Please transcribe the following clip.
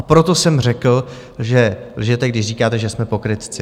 A proto jsem řekl, že lžete, když říkáte, že jsme pokrytci.